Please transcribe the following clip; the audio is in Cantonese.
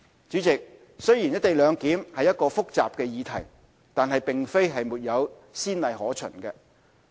主席，雖然"一地兩檢"是一個複雜的議題，但並非沒有先例可循。